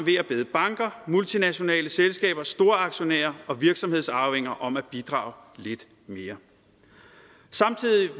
banker multinationale selskaber storaktionærer og virksomhedsarvinger om at bidrage lidt mere